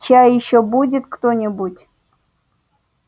чай ещё будет кто-нибудь